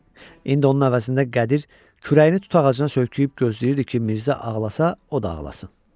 İndi onun əvəzində Qədir kürəyini tut ağacına söykəyib gözləyirdi ki, Mirzə ağlasa, o da ağlasın.